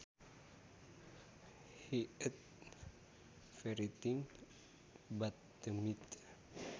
He ate everything but the meat